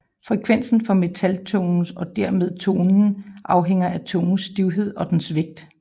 Frekvensen for metaltungerne og dermed tonen afhænger af tungens stivhed og dens vægt